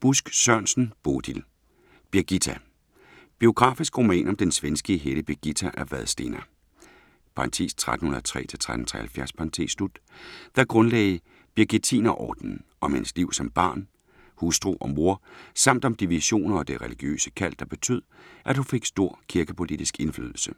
Busk Sørensen, Bodil: Birgitta Biografisk roman om den svenske hellige Birgitta af Vadstena (1303-1373), der grundlagde Birgittinerordenen, om hendes liv som barn, hustru og mor samt om de visioner og det religiøse kald, der betød, at hun fik stor kirkepolitisk indflydelse.